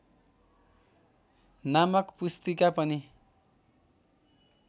नामक पुस्तिका पनि